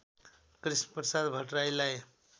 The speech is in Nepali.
कृष्णप्रसाद भट्टराईलाई